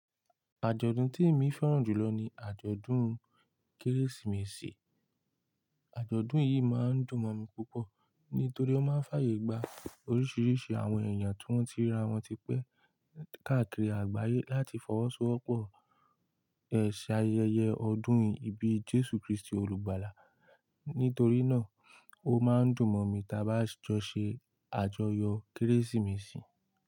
Àjọ̀dún tí èmi fẹ́ràn jùlọ ni àjọ̀dún Kérésìmesì. Àjọ̀dún yìí máa ń dùn mọ̀ mi púpọ̀ nítorí ó máa ń fàyè gba oríṣiríṣi àwọn èèyàn tí wọ́n ti ríra wọ́n ti pẹ́ káàkiri àgbáyé láti fọwọ́sowọ́pọ̀ ẹ̀ṣẹ̀ ayẹyẹ ọdún yìí ibí Jésù Kristi olùgbàlà. Nítorí náà, ó máa ń dùn mọ̀ mi ta bá sh--- jọ ṣe àjọyọ̀ Kérésìmesì.